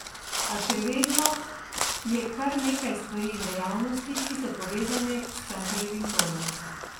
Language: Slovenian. A še vedno je kar nekaj stvari in dejavnosti, ki so povezane s Cankarjevim domom.